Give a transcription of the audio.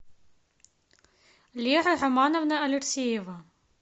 лера романовна алексеева